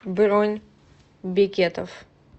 бронь бекетов